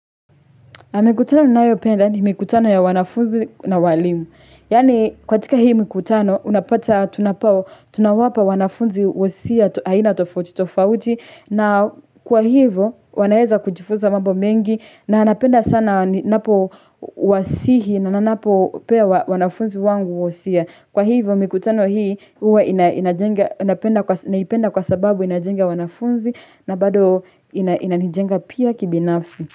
Na mikutano nayopenda ni mikutano ya wanafunzi na walimu. Yani kwatika hii mikutano, unapata tunapao, tunawapa wanafunzi usia, haina tofauti, tofauti. Na kwa hivyo, wanaeza kujifuza mambo mengi na napenda sana ninapo wasihi na nanapo pewa wanafunzi wangu usia. Kwa hivyo mikutano hii, huwa inajenga, napenda kwa sababu inajenga wanafunzi na bado inanijenga pia kibinafsi.